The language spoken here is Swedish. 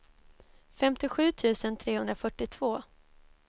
femtiosju tusen trehundrafyrtiotvå